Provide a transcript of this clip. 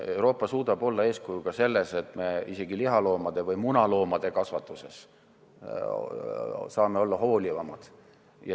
Euroopa suudab olla eeskuju ka selles, et me isegi lihaloomade või munaloomade kasvatuses saame olla hoolivamad.